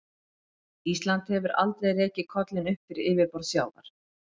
Ísland hefur aldrei rekið kollinn upp fyrir yfirborð sjávar.